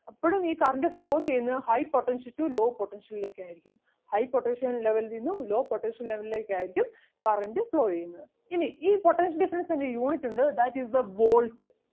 എപ്പഴും ഈ current flow ചെയ്യുന്നത് high potential to low potential ലേക്ക് ആയിരിക്കും high potential level ൽ നിന്നും low potential level ലേക്ക് ആയിരിക്കും current flow ചെയ്യുന്നത്. ഇനി ഈ potential difference ൻ്റെ unit ഉണ്ട് that is the volt